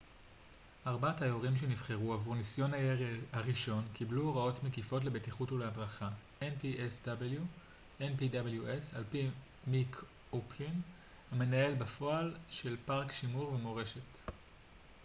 על פי מיק או'פלין המנהל בפועל של פארק שימור ומורשת של ה-npws ארבעת היורים שנבחרו עבור ניסיון הירי הראשון קיבלו הוראות מקיפות לבטיחות והדרכה